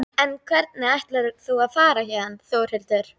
En hvernig ætlar þú að fara héðan Þórhildur?